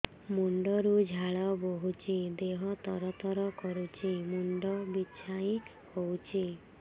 ମୁଣ୍ଡ ରୁ ଝାଳ ବହୁଛି ଦେହ ତର ତର କରୁଛି ମୁଣ୍ଡ ବିଞ୍ଛାଇ ହଉଛି